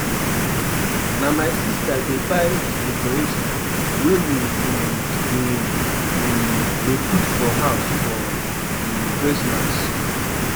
Na my sister dey buy di decoration wey we um dey um dey put for house for um Christmas.